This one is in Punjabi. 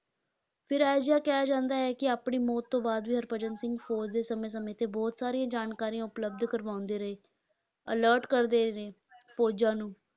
ਫਿਰ ਅਜਿਹਾ ਕਿਹਾ ਜਾਂਦਾ ਹੈ ਕਿ ਅਪਣੀ ਮੌਤ ਤੋਂ ਬਾਅਦ ਵੀ ਹਰਭਜਨ ਸਿੰਘ ਫ਼ੌਜ਼ ਦੇ ਸਮੇਂ-ਸਮੇਂ ਤੇ ਬਹੁਤ ਸਾਰੀਆਂ ਜਾਣਕਾਰੀਆਂ ਉਪਲੱਬਧ ਕਰਵਾਉਂਦੇ ਰਹੇ alert ਕਰਦੇ ਰਹੇ ਹਨ ਫ਼ੌਜ਼ਾਂ ਨੂੰ,